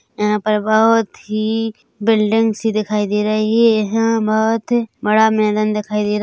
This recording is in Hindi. यहाँ पर बहोत ही बिल्डिंग सी दिखाई दे रही है एहाँ बहोत बड़ा मैदान दिखाई देरा--